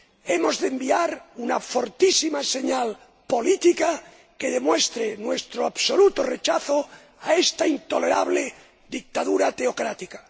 Hemos de enviar una fortísima señal política que demuestre nuestro absoluto rechazo a esta intolerable dictadura teocrática.